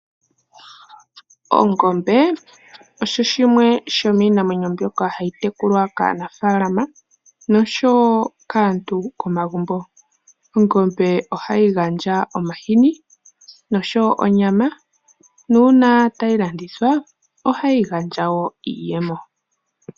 Ongombe osho shimwe shomiinamwenyo mbyoka hayi tekulwa kaanafaalama nosho wo kaantu komagumbo. Ongombe ohayi gandja omahini nosho wo onyama, nuuna tayi landithwa, ohayi gandja wo iiyemo.